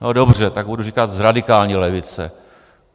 No dobře, tak budu říkat radikální levice.